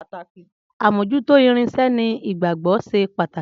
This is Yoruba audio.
Amojuto irinsẹ́ ní ìgbàgbogbo ṣe pàtàkì